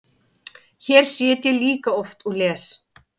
Hér sit ég líka oft og les.